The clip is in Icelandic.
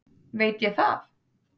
veit ég það?